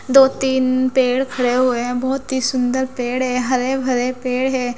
दो तीन पेड़ खड़े हुए हैं बहुत ही सुंदर पेड़ हैं हरे भरे पेड़ हैं।